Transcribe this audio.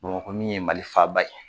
Bamakɔ min ye Mali faaba ye